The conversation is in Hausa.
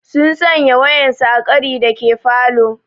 Sun sanya waƴansu a ƙari dake falo.